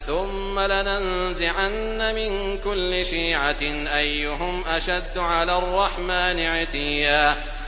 ثُمَّ لَنَنزِعَنَّ مِن كُلِّ شِيعَةٍ أَيُّهُمْ أَشَدُّ عَلَى الرَّحْمَٰنِ عِتِيًّا